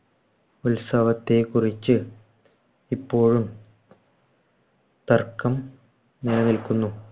ഉത്സാഹത്തെകുറിച്ചു ഇപ്പോഴും തർക്കം നിലനിൽക്കുന്നു.